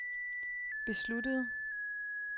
besluttede